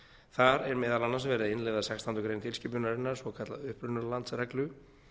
þar er meðal annars verið að innleiða sextándu grein tilskipunarinnar svokallaða upprunalandsreglu